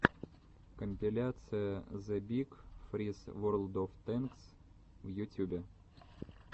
компиляция зэ биг фриз ворлд оф тэнкс в ютюбе